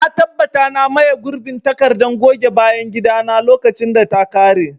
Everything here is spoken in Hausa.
Na tabbata na maye gurbin takardar goge bayan gida na lokacin da ta kare.